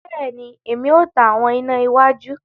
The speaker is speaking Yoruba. Bẹẹni, Èmí o tan àwọn iná iwájú